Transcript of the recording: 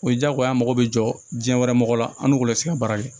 O ye diyagoya ye an mago bɛ jɔ diɲɛ wɛrɛ mɔgɔw la an n'u bɛ se ka baara kɛ